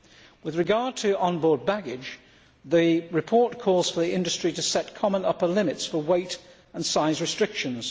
With regard to onboard baggage, the report calls for the industry to set common upper limits for weight and size restrictions.